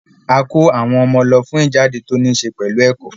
A kó àwọn ọmọ lọ fún ìjáde tó níṣẹ pẹ̀lú ẹ̀kọ́